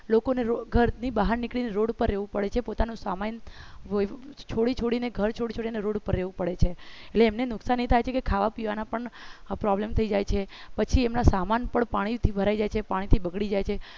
લોકોને ઘરની બહાર નીકળીને રોડ ઉપર રહેવું પડે છે પોતાનો સામાન છોડી છોડીને ઘર છોડી છોડીને રોડ ઉપર રહેવું પડે છે એટલે એમને નુકસાની થાય છે કે ખાવા પીવાના પણ problem થઈ જાય છે પછી એમના સામાન પણ પાણીથી ભરાઈ જાય છે પાણીથી બગડી જાય છે